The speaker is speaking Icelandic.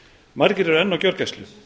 margir eru enn á gjörgæslu